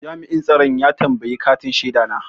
Jami'in tsaron ya tambayi katin shaida na.